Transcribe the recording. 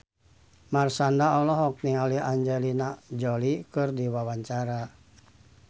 Marshanda olohok ningali Angelina Jolie keur diwawancara